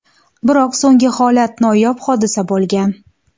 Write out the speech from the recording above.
Biroq so‘nggi holat noyob hodisa bo‘lgan.